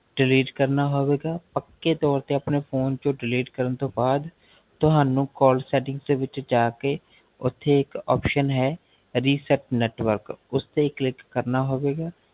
delete ਕਰਨਾ ਹੋਵੇਗਾ ਪੱਕੇ ਤੋਰ ਤੋ ਆਪਣੇ Phone ਤੋ delete ਕਰਨ ਤੋ ਬਾਦ ਤੁਹਾਨੂ call settings ਦੇ ਵਿੱਚ ਜਾ ਕੇ ਓਥੇ ਇਕ option ਹੈ reset network ਉਸਤੇ click ਕਰਨਾ ਹੋਵੇਗਾ